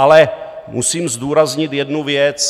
Ale musím zdůraznit jednu věc.